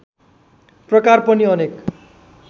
प्रकार पनि अनेक